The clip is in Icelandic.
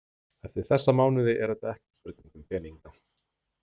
Eftir þessa mánuði er þetta ekki spurning um peninga.